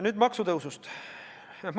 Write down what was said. Nüüd maksutõusust.